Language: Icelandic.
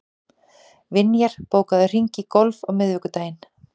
Vinjar, bókaðu hring í golf á miðvikudaginn.